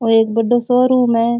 औ एक बड़ो सो रूम है।